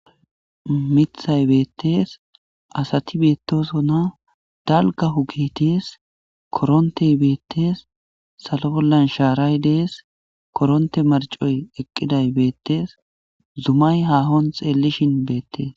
Miththay betes,asati betosona Dalga oge des koronte betes,salo bolla sharay betes, koronte marcoy betes,zumay hakoson xelishin betes